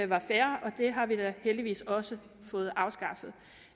var fair og det har vi da heldigvis også fået afskaffet